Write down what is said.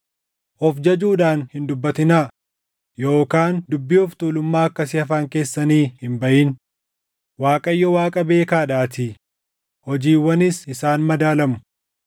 “Of jajuudhaan hin dubbatinaa; yookaan dubbiin of tuulummaa akkasii afaan keessanii hin baʼin; Waaqayyo Waaqa beekaadhaatii; hojiiwwanis isaan madaalamu.